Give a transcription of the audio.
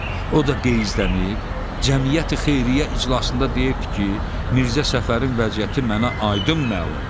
o da qeyzdənib Cəmiyyəti-xeyriyyə iclasında deyibdir ki, Mirzə Səfərin vəziyyəti mənə aydın məlumdur.